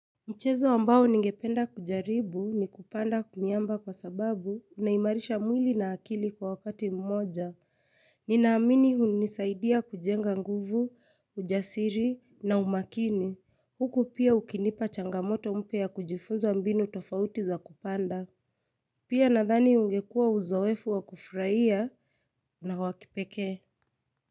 Mchezo ambao ningependa kujaribu ni kupanda kumiamba kwa sababu unaimarisha mwili na akili kwa wakati mmoja. Ninaamini hunisaidia kujenga nguvu, ujasiri na umakini. Huku pia ukinipa changamoto mpya ya kujifunza mbinu tofauti za kupanda. Pia nadhani ungekuwa uzoefu wa kufurahia na wa kipekee.